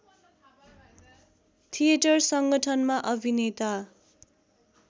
theatre सङ्गठनमा अभिनेता